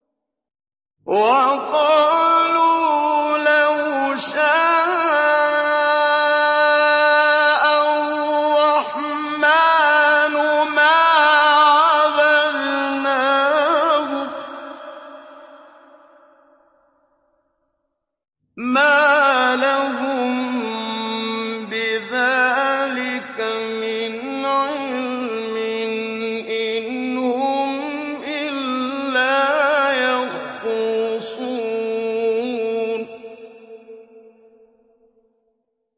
وَقَالُوا لَوْ شَاءَ الرَّحْمَٰنُ مَا عَبَدْنَاهُم ۗ مَّا لَهُم بِذَٰلِكَ مِنْ عِلْمٍ ۖ إِنْ هُمْ إِلَّا يَخْرُصُونَ